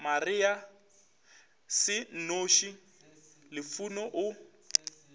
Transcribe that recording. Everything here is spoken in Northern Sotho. maria se nnoši lufuno o